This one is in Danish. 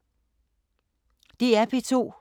DR P2